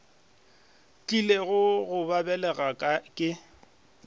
tlilego go ba belega ke